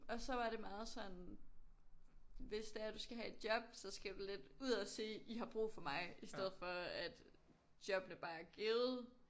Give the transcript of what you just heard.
Og så var det meget sådan hvis det er du skal have et job så skal du lidt ud og sige I har brug for mig i stedet for at jobsne bare er givet